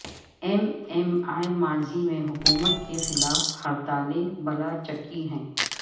M M A ماضی میں حکومت کے خلاف ہڑتالیں بلا چکی ہے